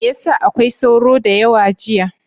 Me ya sa akwai sauro da yawa jiya?